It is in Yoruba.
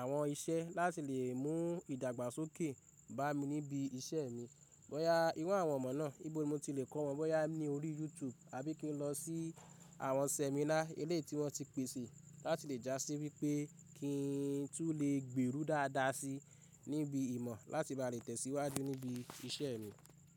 àwọn iṣẹ́ láti lè mú ìdàgbàsókè bá mi níbi iṣẹ́ mi. Bọ́ya ìru àwọn ìmọ̀ náà, níbo ni mo ti le kó wọn, bọ́ya ní orí YouTube àbí kí n lọ sí àwọn seminar ele tí wọ́n ti pèsè láti lè já sí wípé kí n tú lè gbèrú dáadáa si níbi ìmọ̀ láti bá lè tẹ̀síwájú níbi iṣẹ́ mi.